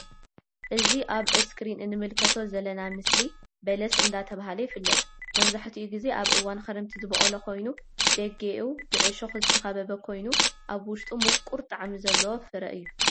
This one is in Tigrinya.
እዚ ኣብ እስክሪን እንምልከቶ ዘለና ምስሊ በለስ እንዳተብሃለ ይፍለጥ መብዛሕተኡ ግዜ ኣብ እዋን ክረምቲ ዝቦቀል ኮይኑ ደጌኡ ብዕሾክ ዝተከበበ ኮይኑ ኣብ ውሽጡ ሙቁር ጣዕሚ ዘለዎ ፍረ እዩ።